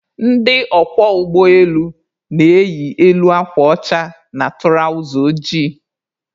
Ndị ọkwọ ụgbọ elu na-eyi elu akwa ọcha na tụrawza ojii.